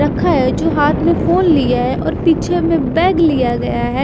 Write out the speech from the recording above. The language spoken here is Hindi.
रखा है जो हाथ में फोन लिया है और पीछे में बैग लिया गया है।